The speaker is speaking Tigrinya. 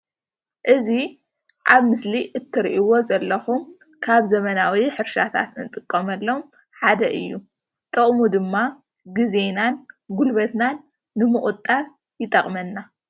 እዚ ኣብ ምስሊ እትሪእዎ ዘለኩም ካብ ዘበናዊ ሕርሻታት እንጥቀመሎም ሓደ እዩ ጥቅሙ ድማ ግዜናን ጉልበትናን ንምቁጣብ ይጠቅመና፡፡